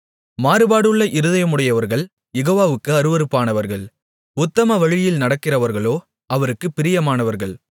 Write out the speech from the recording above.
மாறுபாடுள்ள இருதயமுடையவர்கள் யெகோவாவுக்கு அருவருப்பானவர்கள் உத்தம வழியில் நடக்கிறவர்களோ அவருக்குப் பிரியமானவர்கள்